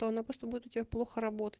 то она просто буду у тебя плохо работать